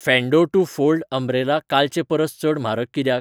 फेंडो two fold umbrella कालचे परस चड म्हारग कित्याक ?